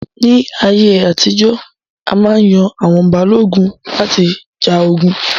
Ní ayé àtijọ́, a má yan àwọn Balógun láti ja ogun